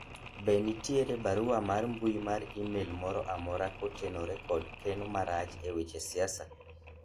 be ne nitiere barua mar mbui mar email moro amora kotenore kod keno marach e weche siasa